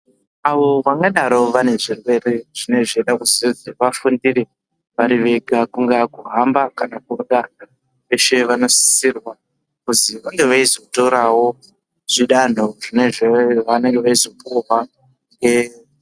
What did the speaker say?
Avo vangadaro vane zvirwere zvinenge zveide kuzozi vafundire vari vega kungaa kuhamba kana kurya veshe vanosisirwa kuzi vange veizotorawo zvidanho zvavanenge veizopuhwa.